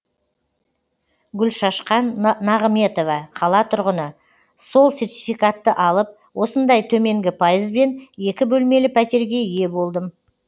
гүлшашқан нағыметова қала тұрғыны сол сертификатты алып осындай төменгі пайызбен екі бөлмелі пәтерге ие болдым